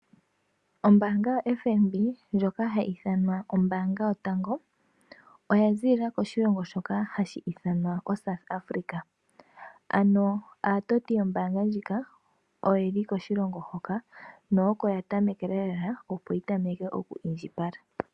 Ombaanga yoFNB ndjoka hayi ithanwa ombaanga yotango oya ziilila koshilongo shoka hashi ithanwa oSouth Africa. Ano aatoti yombaanga ndjoka oyeli koshilongo hoka, no oko ya tamekela opo yi tameke oku indjipala